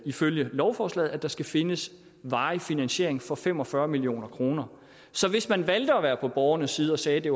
ifølge lovforslaget at der skal findes varig finansiering for fem og fyrre million kroner så hvis man valgte at være på borgernes side og sagde at det